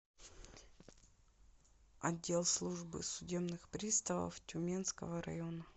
отдел службы судебных приставов тюменского района